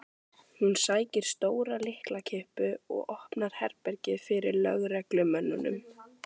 Hún sækir stóra lyklakippu og opnar herbergið fyrir lögreglumönnunum.